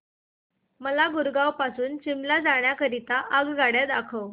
मला गुरगाव पासून शिमला जाण्या करीता आगगाड्या दाखवा